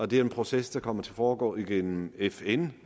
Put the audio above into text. det er en proces der kommer til at foregå gennem fn